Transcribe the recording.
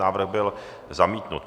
Návrh byl zamítnut.